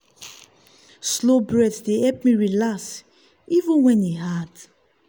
slow breath dey help me relax even when e hard.